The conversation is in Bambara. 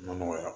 Ma nɔgɔya